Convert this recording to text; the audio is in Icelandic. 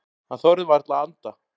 Hann þorði varla að anda.